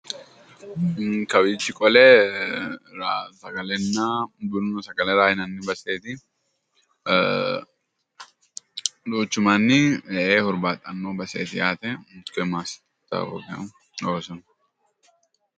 Kawich qole sagalena buna Ra yinani baseti duuchu Manni hurbaaxano baseeti yaate koye mastawoqiya loonsona